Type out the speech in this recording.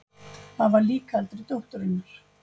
Það var lík eldri dótturinnar.